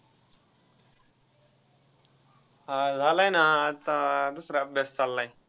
हा झालाय ना आता दूसरा अभ्यास चाललाय.